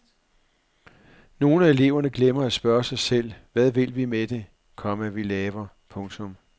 Nogle af eleverne glemmer at spørge sig selv hvad vi vil med det, komma vi laver. punktum